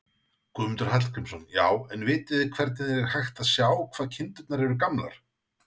Guðmundur Hallgrímsson: Já, en vitið þið hvernig er hægt að sjá hvað kindurnar eru gamlar?